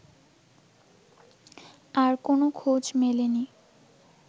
আর কোন খোঁজ মেলেনি